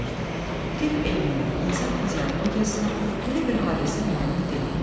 Tibb elminə, insan fiziologiyasına belə bir hadisə məlum deyil.